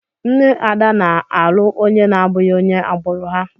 Nne Ada na-alụ onye na-abụghị onye agbụrụ ha.